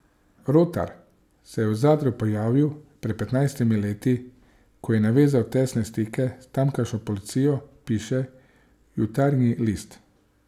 Rotar se je v Zadru pojavil pred petnajstimi leti, ko je navezal tesne stike s tamkajšnjo policijo, piše Jutarnji list.